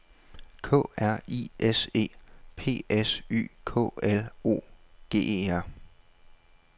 K R I S E P S Y K O L O G E R